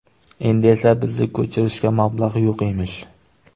Endi esa bizni ko‘chirishga mablag‘ yo‘q emish.